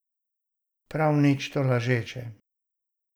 Prav nič tolažeče.